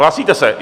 Hlásíte se?